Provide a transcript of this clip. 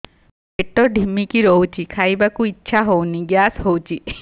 ପେଟ ଢିମିକି ରହୁଛି ଖାଇବାକୁ ଇଛା ହଉନି ଗ୍ୟାସ ହଉଚି